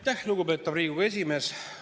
Aitäh, lugupeetav Riigikogu esimees!